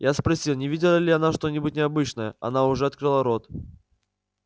я спросил не видела ли она что-нибудь необычное она уже открыла рот